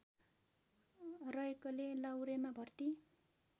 रहेकोले लाहुरेमा भर्ती